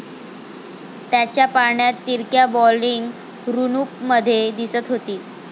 त्याच्या पाळण्यात तिरक्या बॉलिंग रुनूपमध्ये दिसत होती.